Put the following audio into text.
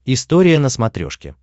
история на смотрешке